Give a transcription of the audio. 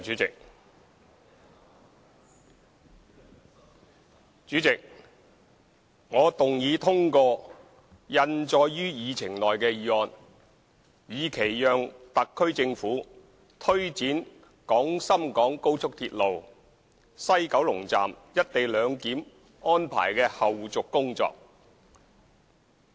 主席，我動議通過印載於議程內的議案，以期讓特區政府推展廣深港高速鐵路西九龍站"一地兩檢"安排的後續工作。